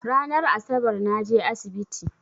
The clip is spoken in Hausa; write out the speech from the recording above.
Ranan Asabar naje asibiti